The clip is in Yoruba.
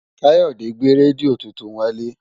Káyọ̀dé gbé rédíò tuntun wálé